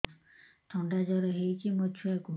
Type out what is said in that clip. ଥଣ୍ଡା ଜର ହେଇଚି ମୋ ଛୁଆକୁ